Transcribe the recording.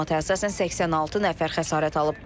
Məlumata əsasən 86 nəfər xəsarət alıb.